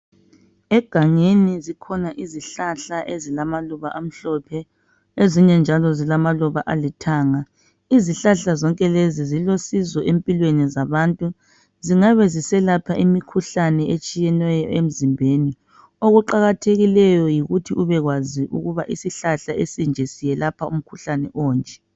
Egangeni zikhona izihlahla ezilamaluba amhlophe ezinye njalo zilamaluba olithanga. Izihlanhla zonke lezo zilusizo empilweni zabantu zingabe ziselapha imikhuhlane etshiyeneyo emzimbeni okuqakathekileyo yikuthi ube kwazi ukuba isihlahla esinje siyelapha umkhuhlane onje.